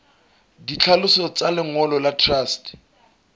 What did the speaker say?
ditlhaloso tsa lengolo la truste